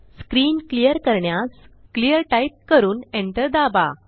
screen clear करण्यास clearटाईप करून एंटर दाबा